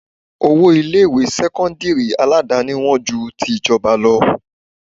Owó ilé ìwé sẹ́kọ́ńdírì Aládàáni wón ju ti ìjọba lọ.